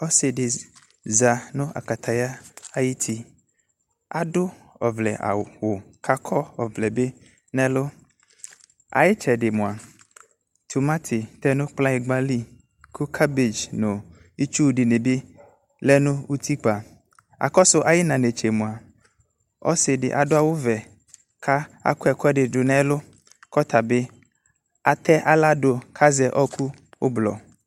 Ɔse de za no akataya ayiti Ado ɔvlɛ awu ko akɔ ɔvlɛ be noNo aye tsɛde moa, akɔ tomate no kplanyingba li ko Cabage no itsu de ne be lɛ no utikpa Akɔso aye na netsɛ moa, ɔse de ado awuve ko akɔ ɛkuɛde do no ɛlu ko ɔta be afɛ ahla do ko akɔ ɛku ublɔ